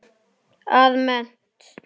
að mennt.